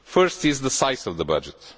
The first is the size of the budget.